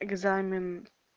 экзамен